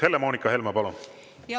Helle-Moonika Helme, palun!